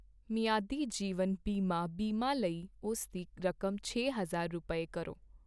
ਮਿਆਦੀ ਜੀਵਨ ਬੀਮਾ ਬੀਮਾ ਲਈ ਉਸ ਦੀ ਰਕਮ ਛੇ ਹਜ਼ਾਰ ਰੁਪਏ, ਕਰੋ